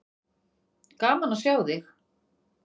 Gaman að sjá þig.